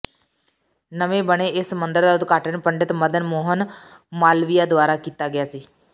ਨਵੇਂ ਬਣੇ ਇਸ ਮੰਦਰ ਦਾ ਉਦਘਾਟਨ ਪੰਡਿਤ ਮਦਨ ਮੋਹਨ ਮਾਲਵੀਯਾ ਦੁਆਰਾ ਕੀਤਾ ਗਿਆ ਸੀ